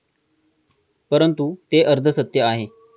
परंतु, ते अर्धसत्य आहे.